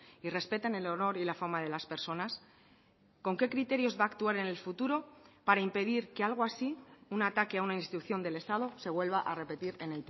y respetan el honor y la fama de las personas con qué criterios va a actuar en el futuro para impedir que algo así un ataque a una institución del estado se vuelva a repetir en